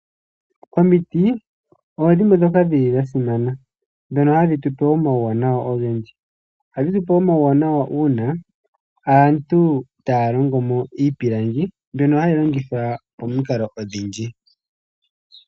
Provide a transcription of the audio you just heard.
Omiti odho dhimwe ndhoka dhili dha simana, ndhono hadhi tupe omauwanawa ogendji. Ohadhi tupe omauwanawa uuna aantu taya longomo iipilangi, mbyono hayi longithwa pamikalo odhindji.